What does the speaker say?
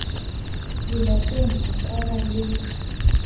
lelapeng ho ka ba le